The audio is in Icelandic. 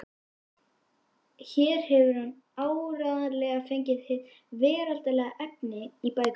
Hér hefur hann áreiðanlega fengið hið veraldlega efni í bækurnar.